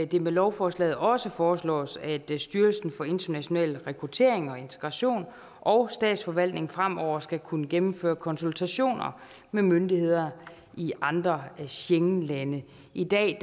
det med lovforslaget også foreslås at styrelsen for international rekruttering og integration og statsforvaltningen fremover skal kunne gennemføre konsultationer med myndigheder i andre schengenlande i dag